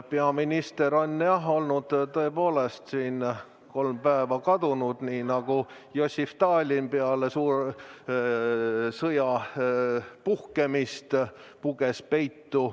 Peaminister on tõepoolest olnud kolm päeva kadunud, nii nagu Jossif Stalin peale suure sõja puhkemist puges peitu.